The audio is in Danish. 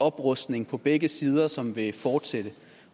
oprustning på begge sider som vil fortsætte